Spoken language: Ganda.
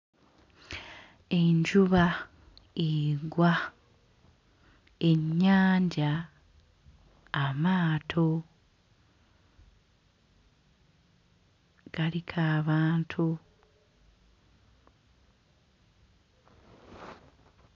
Enjuba egwa ennyanja amaato galiko abantu.